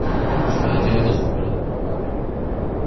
что делать если болит голова